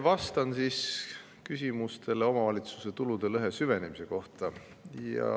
Vastan küsimustele omavalitsuste tulude lõhe süvenemise kohta.